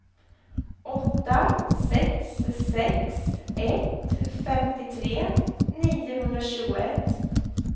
åtta sex sex ett femtiotre niohundratjugoett